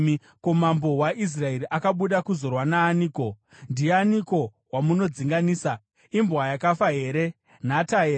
“Ko, mambo waIsraeri akabuda kuzorwa naaniko? Ndianiko wamunodzinganisa? Imbwa yakafa here? Nhata here?